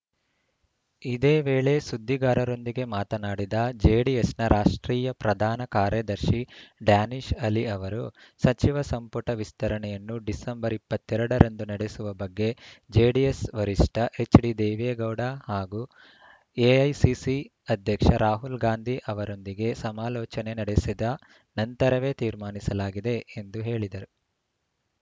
ಇದೇ ವೇಳೆ ಸುದ್ದಿಗಾರರೊಂದಿಗೆ ಮಾತನಾಡಿದ ಜೆಡಿಎಸ್‌ನ ರಾಷ್ಟ್ರೀಯ ಪ್ರಧಾನ ಕಾರ್ಯದರ್ಶಿ ಡ್ಯಾನೀಶ್‌ ಅಲಿ ಅವರು ಸಚಿವ ಸಂಪುಟ ವಿಸ್ತರಣೆಯನ್ನು ಡಿಸೆಂಬರ್ ಇಪ್ಪತ್ತ್ ಎರಡ ರಂದು ನಡೆಸುವ ಬಗ್ಗೆ ಜೆಡಿಎಸ್‌ ವರಿಷ್ಠ ಎಚ್‌ಡಿದೇವೇಗೌಡ ಹಾಗೂ ಎಐಸಿಸಿ ಅಧ್ಯಕ್ಷ ರಾಹುಲ್‌ ಗಾಂಧಿ ಅವರೊಂದಿಗೆ ಸಮಾಲೋಚನೆ ನಡೆಸಿದ ನಂತರವೇ ತೀರ್ಮಾನಿಸಲಾಗಿದೆ ಎಂದು ಹೇಳಿದರು